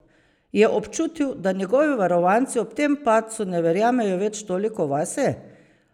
Je občutil, da njegovi varovanci ob tem padcu ne verjamejo več toliko vase?